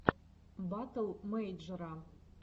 батл мэйджера